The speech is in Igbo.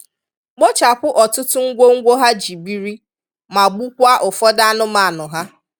kpochapụ ọtụtụ ngwongwo ha ji biri ma gbukwaa ụfọdụ anụmanụ ha.